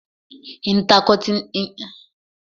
Intercontinental ni ilé-ìfowópamọ́ Access ń jẹ́ tẹ́lẹ̀